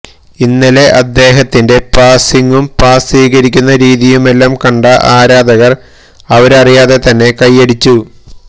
ഇന്നലെ അദ്ദേഹത്തിന്റെ പാസിംഗും പാസ് സ്വീകരിക്കുന്ന രീതിയുമെല്ലാം കണ്ട ആരാധകർ അവരറിയാതെ തന്നെ കൈയ്യടിച്ചു